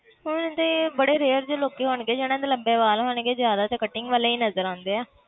ਹੁਣ ਤੇ ਬੜੇ rare ਜਿਹੇ ਲੋਕੀ ਹੋਣਗੇ ਜਿੰਨਾ ਦੇ ਲੰਬੇ ਵਾਲ ਹੋਣਗੇ ਜ਼ਿਆਦਾ ਤੇ cutting ਵਾਲੇ ਹੀ ਨਜ਼ਰ ਆਉਂਦੇ ਆ।